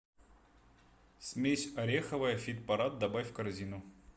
смесь ореховая фитпарад добавь в корзину